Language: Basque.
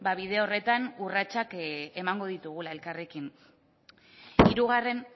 bide horretan urratsak emango ditugula elkarrekin hirugarren